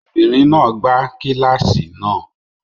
Obìnrin náà gbá kíláàsì náà.